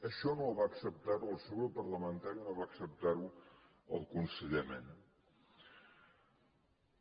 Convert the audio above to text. això no va acceptar ho el seu grup parlamentari no va acceptar ho el conseller mena